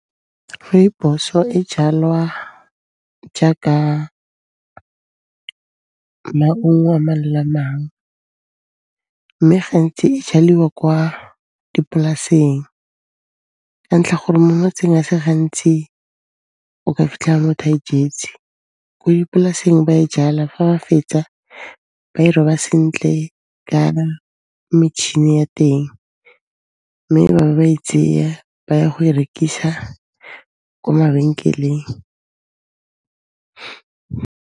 Rooibos-o e jalwa jaaka maungo a mang le a mang, mme gantsi e jaliwa kwa dipolaseng ka ntlha gore mo motseng a se gantsi o ka fitlhela motho a e jetse. Ko dipolaseng ba e jala, fa ba fetsa ba e roba sentle ka metšhini ya teng mme ba be ba e tseya, ba ya go e rekisa ko mabenkeleng.